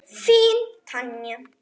Þín Tanya.